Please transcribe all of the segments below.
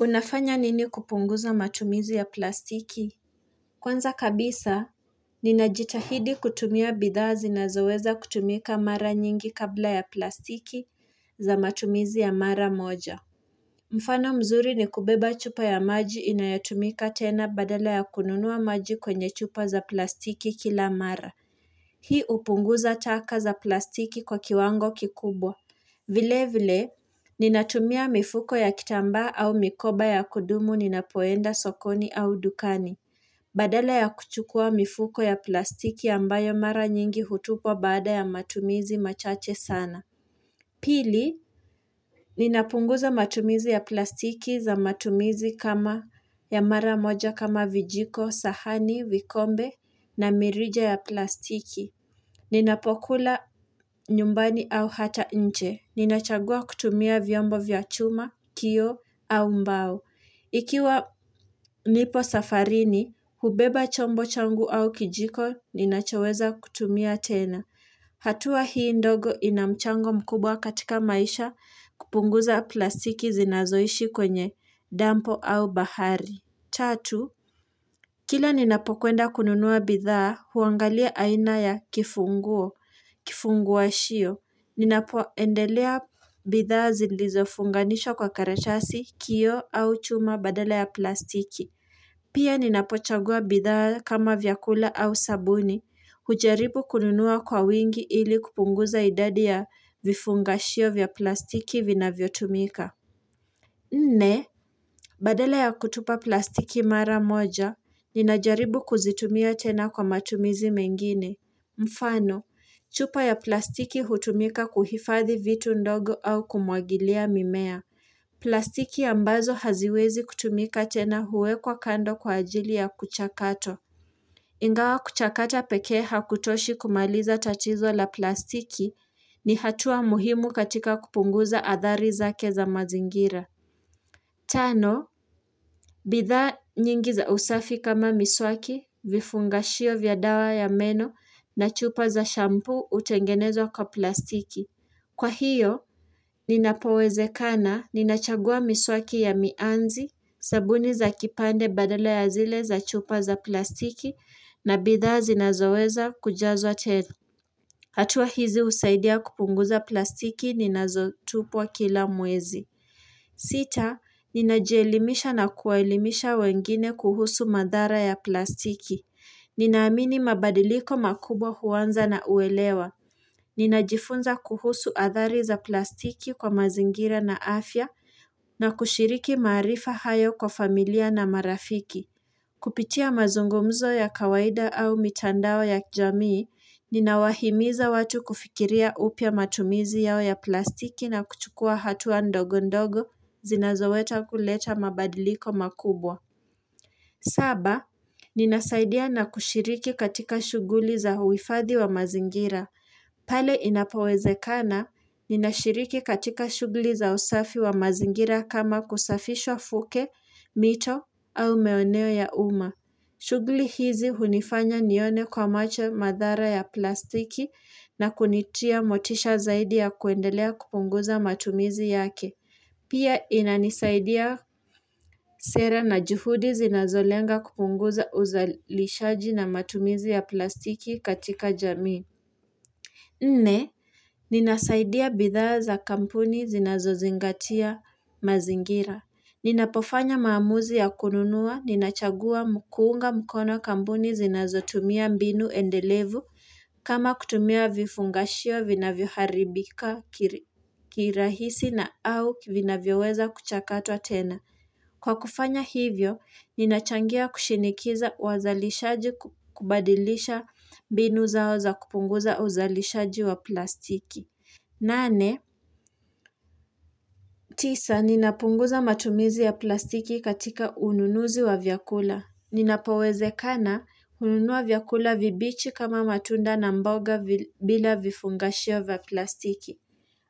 Unafanya nini kupunguza matumizi ya plastiki? Kwanza kabisa, ninajitahidi kutumia bidhaa zinazoweza kutumika mara nyingi kabla ya plastiki za matumizi ya mara moja. Mfano mzuri ni kubeba chupa ya maji inayatumika tena badala ya kununua maji kwenye chupa za plastiki kila mara. Hii hupunguza taka za plastiki kwa kiwango kikubwa. Vilevile, ninatumia mifuko ya kitambaa au mikoba ya kudumu ninapoenda sokoni au dukani. Badala ya kuchukua mifuko ya plastiki ambayo mara nyingi hutupwa baada ya matumizi machache sana. Pili, ninapunguza matumizi ya plastiki za matumizi kama ya mara moja kama vijiko, sahani, vikombe na mirija ya plastiki. Ninapokula nyumbani au hata nje. Ninachagua kutumia vyombo vya chuma, kioo au mbao. Ikiwa nipo safarini, hubeba chombo changu au kijiko, ninachaweza kutumia tena. Hatua hii ndogo ina mchango mkubwa katika maisha kupunguza plastiki zinazoishi kwenye dampo au bahari. Tatu, kila ninapokwenda kununua bidhaa, huangalia aina ya kifunguo, kifungashio. Ninapoendelea bidhaa zilizofunganishwa kwa karatasi, kioo au chuma badala ya plastiki. Pia ninapochagua bidhaa kama vyakula au sabuni. Hujaribu kununua kwa wingi ili kupunguza idadi ya vifungashio shio vya plastiki vinavyotumika. Nne, badala ya kutupa plastiki mara moja, ninajaribu kuzitumia tena kwa matumizi mengine. Mfano, chupa ya plastiki hutumika kuhifadhi vitu ndogo au kumwagilia mimea. Plastiki ambazo haziwezi kutumika tena huwekwa kando kwa ajili ya kuchakato. Ingawa kuchakata pekee hakutoshi kumaliza tatizo la plastiki ni hatua muhimu katika kupunguza athari zake za mazingira. Tano, bidhaa nyingi za usafi kama miswaki, vifungashio vya dawa ya meno na chupa za shampuu hutengenezwa kwa plastiki. Kwa hiyo, ninapowezekana ninachagua miswaki ya mianzi, sabuni za kipande badala ya zile za chupa za plastiki na bidhaa zinazoweza kujazwa tena. Hatua hizi husaidia kupunguza plastiki ninazotupwa kila mwezi. Sita, ninajielimisha na kuwaelimisha wengine kuhusu madhara ya plastiki. Ninaamini mabadiliko makubwa huanza na uelewa. Ninajifunza kuhusu athari za plastiki kwa mazingira na afya na kushiriki maarifa hayo kwa familia na marafiki. Kupitia mazungumzo ya kawaida au mitandao ya kijamii, ninawahimiza watu kufikiria upya matumizi yao ya plastiki na kuchukua hatua ndogo ndogo zinazoweza kuleta mabadiliko makubwa. Saba, ninasaidia na kushiriki katika shughuli za huifadhi wa mazingira. Pale inapowezekana, ninashiriki katika shughuli za usafi wa mazingira kama kusafisha fukwe, mito au maeneo ya umma. Shughuli hizi hunifanya nione kwa macho madhara ya plastiki na kunitia motisha zaidi ya kuendelea kupunguza matumizi yake Pia inanisaidia sera na juhudi zinazolenga kupunguza uzalishaji na matumizi ya plastiki katika jamii Nne, ninasaidia bidhaa za kampuni zinazozingatia mazingira. Ninapofanya maamuzi ya kununua ninachagua kuunga mkono kambuni zinazotumia mbinu endelevu kama kutumia vifungashio vinavyoharibika kirahisi na au vina vioweza kuchakatwa tena. Kwa kufanya hivyo, ninachangia kushinikiza wazalishaji, kubadilisha mbinu zao za kupunguza uzalishaji wa plastiki. Nane, tisa, ninapunguza matumizi ya plastiki katika ununuzi wa vyakula. Inapowezekana, hununua vyakula vibichi kama matunda na mboga bila vifungashio wa plastiki.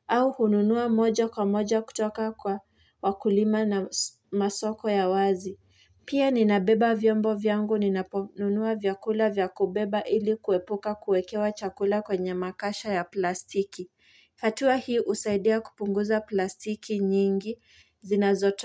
Au hununua moja kwa moja kutoka kwa wakulima na masoko ya wazi. Pia, ninabeba vyombo vyangu, ninaponunua vyakula vya kubeba ili kuepuka kuekewa chakula kwenye makasha ya plastiki. Hatua hii husaidia kupunguza plastiki nyingi zinazo.